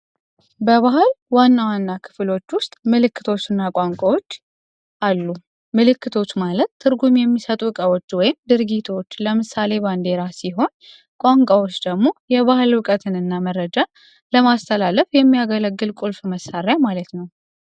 በባህል ዋና ዋና አካሎች ዉስጥ ምልክቶች እና ቋንቋዎች አሉ። ምልክቶች ማለት ትርጉም የሚሰጡ ድርጊቶች ወይም እቃዎች አሉ። ለምሳሌ ባንዲራ ቋንቋዎች ደግሞ መልዕክትን ለማስተላለፍ የማያገለግሉ ቁልፍ መሣሪያ ነዉ።